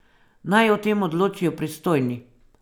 Naj o tem odločijo pristojni.